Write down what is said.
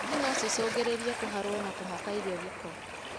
Ngi nocicungĩrĩrie kũharwo kũhaka irio gĩko.